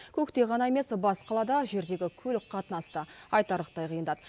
көкте ғана емес бас қалада жердегі көлік қатынасы да айтарлықтай қиындады